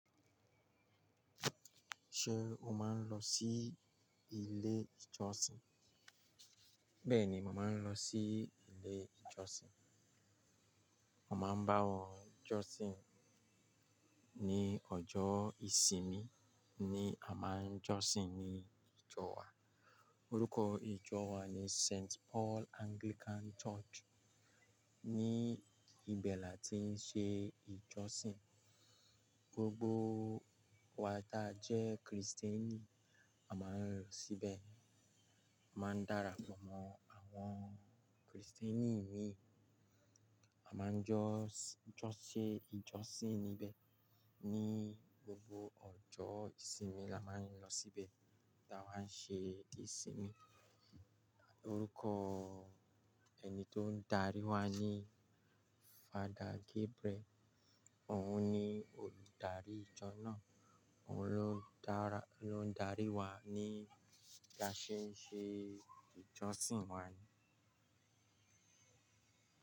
Ṣé o máa ń lọ sí ilé ìjọsìn? Bẹ́ẹ̀ni, mo màá ń lọ sí ilé ìjọsìn. Mọ máa ń bá wọn jọ́sìn, ní ọjọ́ ìsinmi ni a máa ń jọ́sìn ní ìjọ wa. Orúkọ ìjọ wa ni Saint Paul Anglican Church. Ni ibẹ̀ lá tí ń ṣe ìjọsìn, gbogbo wa ta jẹ́ Kristẹni, a máa ń lọ síbẹ̀. A máa ń darapọ̀ mọ́ àwọn Kristẹni imi. A máa ń jọ́sìn, ṣe ìjọsìn níbẹ̀ ní gbogbo ọjọ́ ìsinmi la máa ń lọ síbẹ̀ ta bá ń ṣe ìsinmi. Orúkọ ẹni tó ń darí wa ni Father Gabriel. Òun ni olùdarí ìjọ náà. Òun ló ń dára, ló ń darí wa nígbà tí bi a ṣe ń ṣe ìjọsìn wa ni.